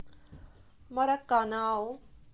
мараканау